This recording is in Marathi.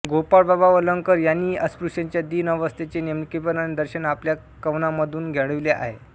गोपाळ बाबा वलंगकर यांनीही अस्पृश्यांच्या दिन अवस्थेचे नेमकेपणाने दर्शन आपल्या कावणानमधून घडविले आहे